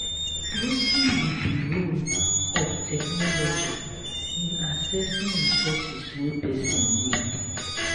wetin be di role of technology in accessing resources wey pesin need?